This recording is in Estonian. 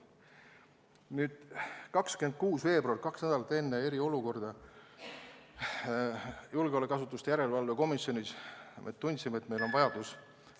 Nüüd, 26. veebruaril, kaks nädalat enne eriolukorra väljakuulutamist tundsime julgeolekuasutuste järelevalve komisjonis, et meil on vajadus ...